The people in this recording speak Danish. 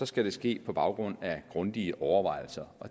skal det ske på baggrund af grundige overvejelser